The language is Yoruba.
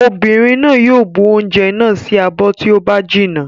Obìnrin náà yóò bu oúnjẹ náà sí abọ́ tí ó bá jinná.